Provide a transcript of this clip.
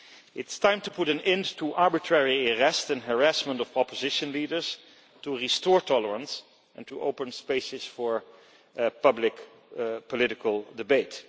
It is time to put an end to the arbitrary arrest and harassment of opposition leaders, to restore tolerance and to open spaces for public political debate.